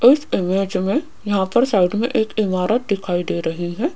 इस इमेज में यहां पर साइड में एक इमारत दिखाई दे रही हैं।